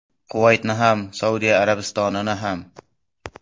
Quvaytni ham, Saudiya Arabistonini ham.